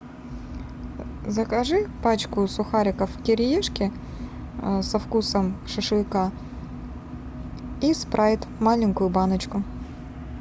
закажи пачку сухариков кириешки со вкусом шашлыка и спрайт маленькую баночку